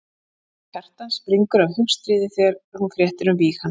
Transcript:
Kona Kjartans springur af hugstríði þegar hún fréttir um víg hans.